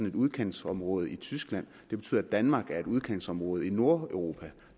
et udkantsområde i tyskland det betyder at danmark er et udkantsområde i nordeuropa